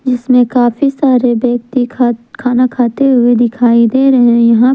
जिसमें काफी सारे व्यक्ति खाना खाते हुए दिखाई दे रहे है यहां--